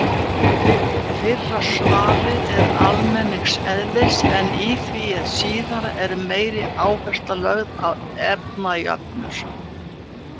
Fyrra svarið er almenns eðlis en í því síðara er meiri áhersla lögð á efnajöfnur.